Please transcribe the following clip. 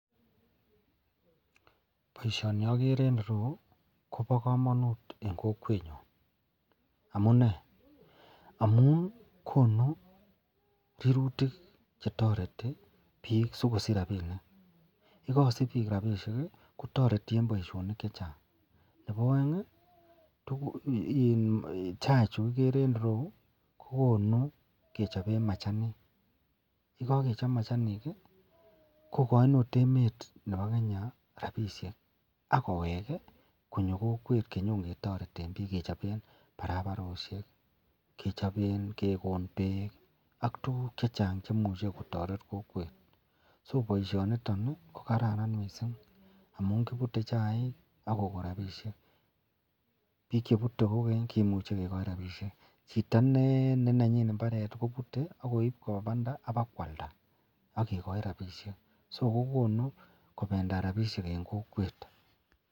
Baishoni agere en ireyu Koba kamanut en kokwet nyon amunee, amun konu minutik chetareti bik sikosich rabinik en kokwet yikasich bik rabishek kotareti en Baishonik chechang Nebo aeng tuguk anan ko chaik cheigere en ireyu kokonu kechopen machanik yekakechop machanik kokain okot emet Nebo Kenya rabinik akowek konyo kokwet konyo ketareten bik kechopen barabaret ,kekon bek ak tuguk chechang cheimuche kotaret kokwet so baishoniton ko kararan mising amun kibire chaik akokon rabishek bik chebute kokenye koimuch kekoi rabishek Chito neanyin imbaret komuche kobut akoib Koba Banda kwalda agegai rabishek akokonunkobendat rabishek en kokwet.